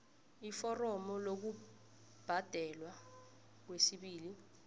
iforomo lokubhadelwa kwesibili